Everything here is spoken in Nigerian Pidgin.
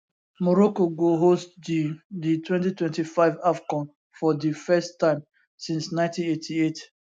morocco go host di di 2025 afcon for di first time since 1988